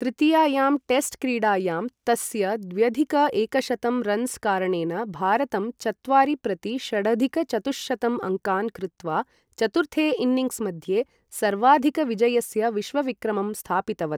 तृतीयायां test क्रीडायां, तस्य द्व्यधिक एकशतं रन्स् कारणेन भारतं चत्वारि प्रति षडधिक चतुःशतं अङ्कान् कृत्वा, चतुर्थे इन्निङ्ग्स् मध्ये सर्वाधिकविजयस्य विश्वविक्रमं स्थापितवत्।